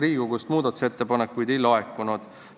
Riigikogust muudatusettepanekuid ei laekunud.